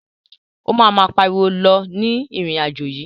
O ma ma pariwo lọ ní irin-ajo yii.